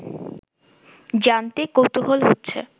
জানতে কৌতুহল হচ্ছে